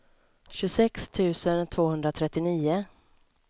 tjugosex tusen tvåhundratrettionio